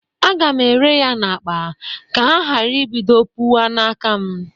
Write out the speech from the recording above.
Aga m ere ya n'akpa ka ha gara ibido pụwa n'aka m